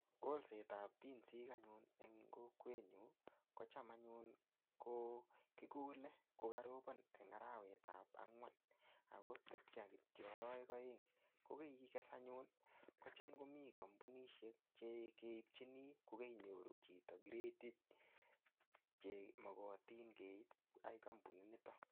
Kolsetab binsik anyun en kokwenyun kocham anyun ko kikole kokorobon en arawetab angwan ak ko tebche kitiok arawek oeng, ko keikes anyun kocham komii kombunishek chekeibchini ko keinyoru chito kiretit chemokotin keib ak kombunit niton.